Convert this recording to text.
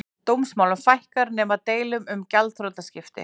Dómsmálum fækkar nema deilum um gjaldþrotaskipti